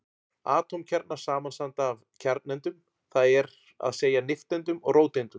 Atómkjarnar samanstanda af kjarnaeindum, það er að segja nifteindum og róteindum.